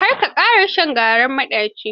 Kar ka ƙara shan garin maɗaci.